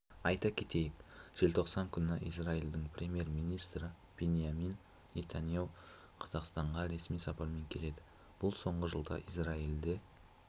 айта кетейік желтоқсан күні израильдің премьер-министрі биньямин нетаньяіу қазақстанға ресми сапармен келеді бұл соңғы жылда израиль